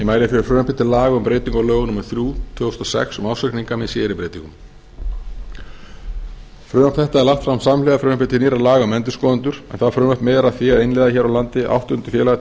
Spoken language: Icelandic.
mæli fyrir frumvarpi til laga um breytingu á lögum númer þrjú tvö þúsund og sex um ársreikninga með síðari breytingum frumvarp þetta er lagt fram samhliða frumvarpi til nýrra laga um endurskoðendur en það frumvarp miðar að því að innleiða hér á landi áttunda félagatilskipun